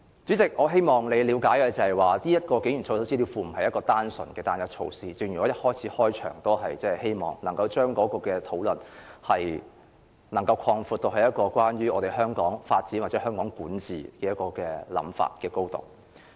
主席，我希望你了解設立警員操守資料庫不是單純的單一措施，我開始發言時希望能夠將討論擴闊至關於香港發展或香港管治的範疇。